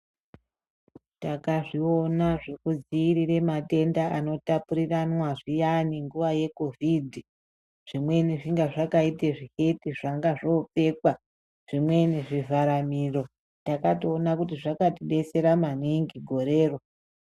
Takazviona zvekudziirire matenda anotapuriranwa ayani nguva yekhovhidhi. Zvimweni zvainga zvakaite zviketi zvainga zvopfekwa, zvimweni zvivharamiro. Takatoona kuti zvakatidetsera maningi gorero.